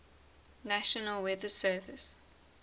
national weather service